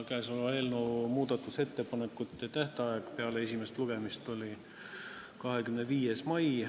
Käesoleva eelnõu muudatusettepanekute tähtaeg peale esimest lugemist oli 25. mai.